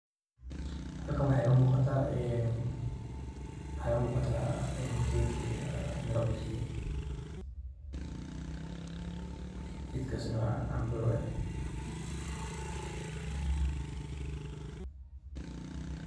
Halkan wax iga muqaataa een mxa ega muqaata geet ee Mira bixiye geetkasi wa camboo .